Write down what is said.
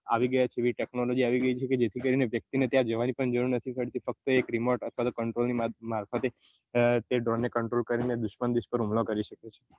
technology આવી ગઈ છે જેથી કરી ને વ્યક્તિ ત્યાં જવાની પણ જરૂર નથી પડતી ફક્ત એક remote અથવા તો એક control ની મારફતે તે drone ને control ની મારફતે તે drone control કરીને દુશ્મન દુશ્મન હુમલો કરી શકે છે